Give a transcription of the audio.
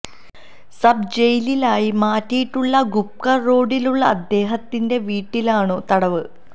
sub ജയിലായി മാറ്റിയിട്ടുള്ള ഗുപ്കർ റോഡിലുള്ള അദ്ദേഹത്തിന്റെ വീട്ടിലാണു തടവ്